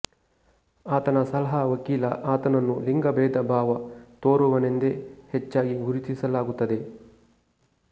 ಆತನ ಸಲಹಾ ವಕೀಲ ಆತನನ್ನು ಲಿಂಗಬೇಧಭಾವ ತೋರುವವನೆಂದೆ ಹೆಚ್ಚಾಗಿ ಗುರುತಿಸಲಾಗುತ್ತದೆ